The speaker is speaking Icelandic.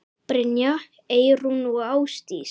Brynja, Eyrún og Ásdís.